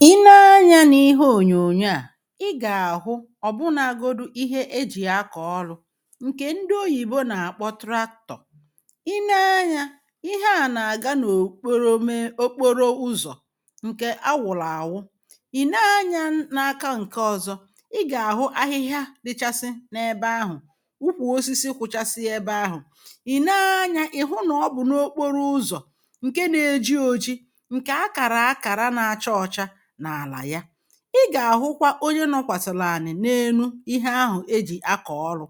I nee anya n’ihe ọ̀nyọ̀nyọ a i ga-ahụ ọ̀bụ nagọdụ ihe ejì akọ̀ ọlụ̇ nke ndị ọyìbọ na-akpọ traktọ̀ i nee anya ihe a na-aga n’ọ̀kpọrọ mee ọkpọrọ ụzọ̀ nke awụ̀lụ awụ i nee anya n’aka nke ọ̀zọ i ga-ahụ ahịhịa dịchasị na ebe ahụ̀ ụkwụ ọsisi kwụchasị ebe ahụ̀ ì nee anya ị̀ hụ na ọ bụ̀ n’ọkpọrọ ụzọ̀ nke na-eji ọji nke akara akara na-acha ọcha n'ala ya i ga-ahụkwa ọnye nọkwasị̀lị̀ anị̀ n’enụ ihe ahụ̀ ejì akọ̀ ọrụ̇